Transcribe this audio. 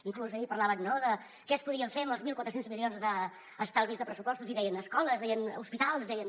inclús ahir parlaven no de què es podria fer amb els mil quatre cents milions d’estalvis de pressupostos i deien escoles deien hospitals deien